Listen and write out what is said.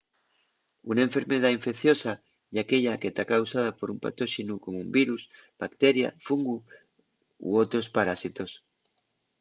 una enfermedá infecciosa ye aquella que ta causada por un patóxenu como un virus bacteria fungu o otros parásitos